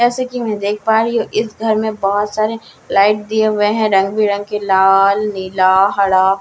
जैसे कि मैं देख पा रही हूं इस घर में बहुत सारी लाइट दिए हुए हैं रंग-बिरंगे लाल नीला हरा--